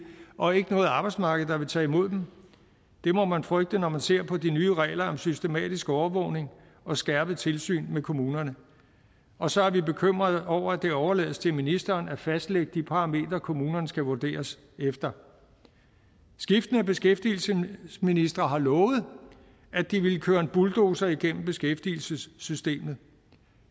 og ikke noget arbejdsmarked der vil tage imod dem det må man frygte når man ser på de nye regler om systematisk overvågning og skærpet tilsyn med kommunerne og så er vi bekymrede over at det overlades til ministeren at fastlægge de parametre kommunerne skal vurderes efter skiftende beskæftigelsesministre har lovet at de ville køre en bulldozer igennem beskæftigelsessystemet